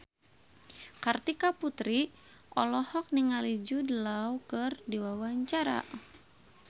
Kartika Putri olohok ningali Jude Law keur diwawancara